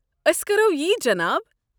أسۍ كرو یی جناب۔